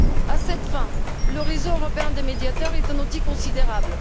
À cette fin, le réseau européen des médiateurs est un outil considérable.